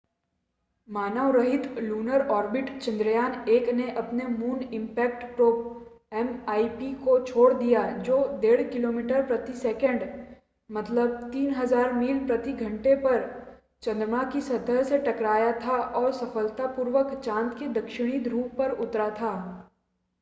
मानव रहित lunar orbit Chandrayaan -1 ने अपने मून इम्पैक्ट प्रोब एमआईपी को छोड़ दिया जो 1.5 किलोमीटर प्रति सेकंड 3000 मील प्रति घंटे पर चंद्रमा की सतह से टकराया था और सफलतापूर्वक चाँद के दक्षिणी ध्रुव पर उतरा था